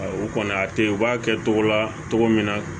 U kɔni a tɛ ye u b'a kɛ cogo la cogo min na